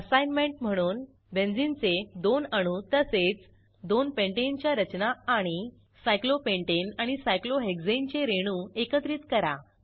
assignment म्हणून बेंझिनचे दोन अणू तसेच दोन पेंटाने च्या रचना आणि सायक्लोपेंटाने आणि सायक्लोहेक्साने चे रेणू एकत्रित करा